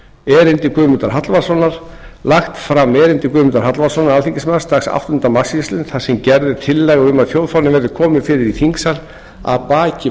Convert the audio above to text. erindi guðmundar hallvarðssonar lagt fram erindi guðmundar hallvarðssonar alþingismanns dagsett áttunda mars síðastliðinn þar sem gerð er tillaga um að þjóðfána verði komið fyrir í þingsal að baki